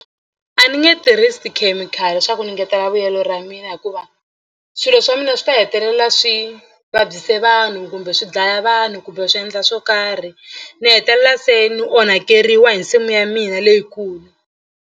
A ni nge tirhisi tikhemikhali leswaku ni engetela vuyelo ra mina hikuva swilo swa mina swi ta hetelela swi vabyise vanhu kumbe swi dlaya vanhu kumbe swi endla swo karhi ni hetelela se ni onhakeriwa hi nsimu ya mina leyikulu.